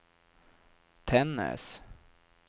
Tännäs